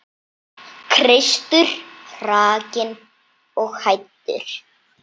Kristur hrakinn og hæddur.